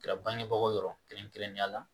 Kɛra bangebaaw yɔrɔ kɛrɛnkɛrɛnnenya la